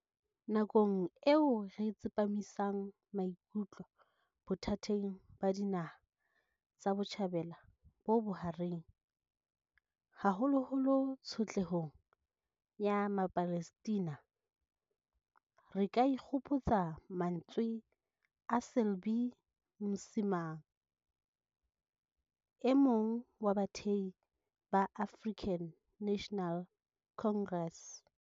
Nakong eo re tsepamisang maikutlo bothateng ba Dinaha tsa Botjhabela bo Bohareng, haholoholo tsho tlehong ya Mapalestina, re ka ikgopotsa mantswe a Selby Msimang, e mong wa bathehi ba African National Congress.